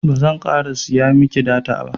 bazan ƙara siya miki data ba